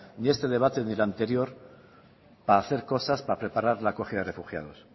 ni a este debate ni el anterior para hacer cosas para preparar la acogida de refugiados